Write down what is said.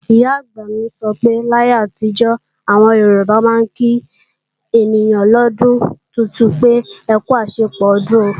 Ìyá-àgbà mi sọ pé láyé àtijó, àwọn Yorùbá máa ń kí ènìyàn lọ́dún tuntun pé, "akú àṣepọ̀ ọdún o"